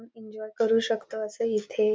enjoy करू शकतो असं इथे--